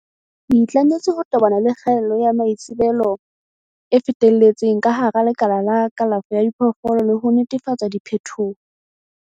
Le itlametse ho tobana le kgaello ya maitsebelo e fetelletseng ka hara lekala la kalafo ya diphoofolo le ho netefatsa diphethoho.